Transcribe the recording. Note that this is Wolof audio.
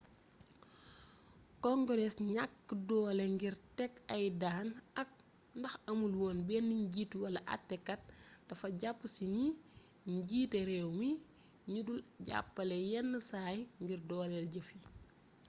congrees gnakk doolé ngir ték ay daan ak ndax amul woon bénn njiit wala atté kat dafa japp ci gni jiité réwmi gni dul jappalé yénn say ngir doolél jeef yi